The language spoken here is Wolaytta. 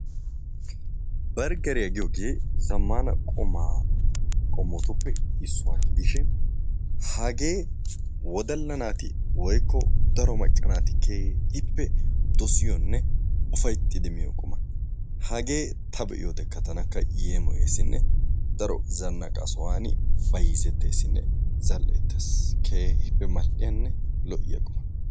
Bergeriya giyoogee zammaana qumaa qommotuppe issuwa gidishin hagee woddalla naati woykko daro macca naati keehippe dosiyonne ufayittidi miyo quma. Hagee ta be"iyoodekka tanakka yeemoyesinne daro zannaqa sohan bayizetteesinne zal"ettes. Keehippe mal"iyanne lo"iya quma.